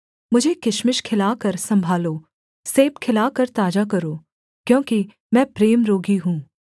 मुझे किशमिश खिलाकर सम्भालो सेब खिलाकर ताजा करो क्योंकि मैं प्रेम रोगी हूँ